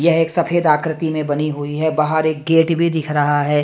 ये एक सफ़ेद आकृति में बनी हुई हे बाहर एक गेट भी दिख रहा हें।